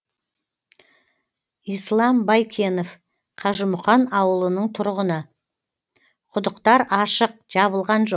ислам байкенов қажымұқан ауылының тұрғыны құдықтар ашық жабылған жоқ